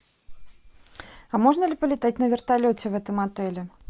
а можно ли полетать на вертолете в этом отеле